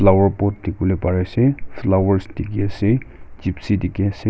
aru pot dekhi bole pari ase flower dekhi ase Jeepcy dekhi ase.